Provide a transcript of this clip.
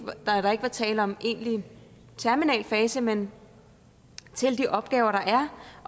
var tale om egentlig terminal fase men til de opgaver der er